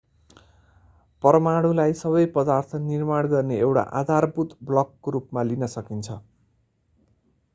परमाणुलाई सबै पदार्थ निर्माण गर्ने एउटा आधारभूत ब्लकको रूपमा लिन सकिन्छ